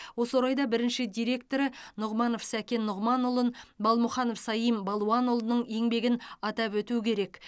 осы орайда бірінші директоры нұғманов сәкен нұғманұлын балмұханов саим балуанұлының еңбегін атап өту керек